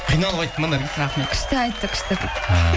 қиналып айтты ма наргиз күшті айтты күшті